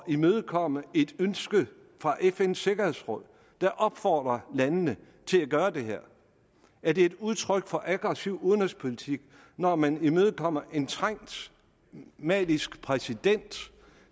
imødekomme et ønske fra fns sikkerhedsråd der opfordrer landene til at gøre det her er det et udtryk for aggressiv udenrigspolitik når man imødekommer en trængt malisk præsident